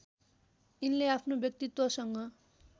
यिनले आफ्नो व्यक्तित्वसँग